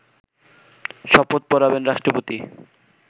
শপথ পড়াবেন রাষ্ট্রপতি